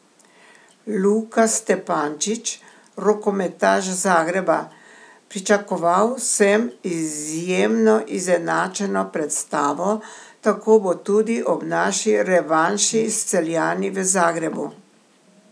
Luka Stepančić, rokometaš Zagreba: "Pričakoval sem izjemno izenačeno predstavo, tako bo tudi ob naši revanši s Celjani v Zagrebu.